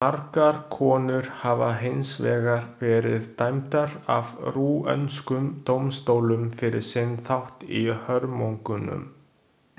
Margar konur hafa hins vegar verið dæmdar af rúöndskum dómstólum fyrir sinn þátt í hörmungunum.